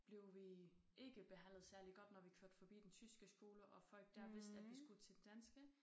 Blev vi ikke behandlet særlig godt når vi kørte forbi den tyske skole og folk der vidste at vi skulle til den danske